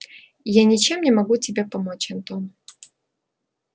я ничем не могу тебе помочь антон